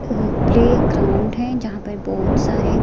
playground है जहां पर बहोत सारे--